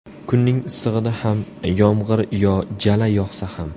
Kunning issig‘ida ham, yomg‘ir yo jala yog‘sa ham.